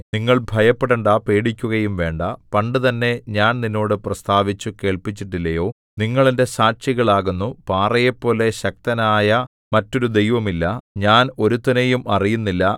നിങ്ങൾ ഭയപ്പെടണ്ടാ പേടിക്കുകയും വേണ്ടാ പണ്ടുതന്നെ ഞാൻ നിന്നോട് പ്രസ്താവിച്ചു കേൾപ്പിച്ചിട്ടില്ലയോ നിങ്ങൾ എന്റെ സാക്ഷികൾ ആകുന്നു പാറയെപ്പോലെ ശക്തനായ മറ്റൊരു ദൈവവും ഇല്ല ഞാൻ ഒരുത്തനെയും അറിയുന്നില്ല